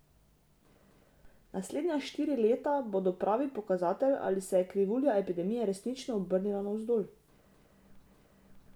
Naslednja štiri leta bodo pravi pokazatelj, ali se je krivulja epidemije resnično obrnila navzdol.